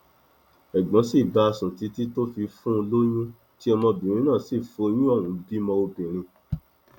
ẹgbọn sì bá a sùn títí tó fi fún un lóyún tí ọmọbìnrin náà sì foyún ohùn bímọ obìnrin